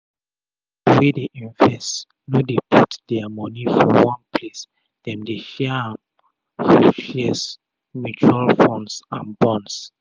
pipu wey dey invest no dey put dia moni for one place dem dey share am for shares mutual funds and bonds um